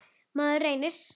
Maður reynir.